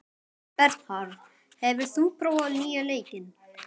Bernharð, hefur þú prófað nýja leikinn?